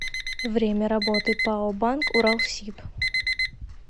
время работы пао банк уралсиб